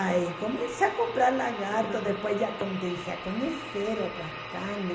Aí comecei a comprar lagarto, depois já comecei a conhecer outras carnes.